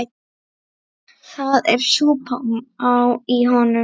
Það er súpa í honum.